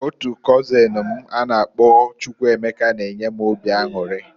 Otu kozin m a na -akpọ Chukwuemeka na-enye m obi anwuri.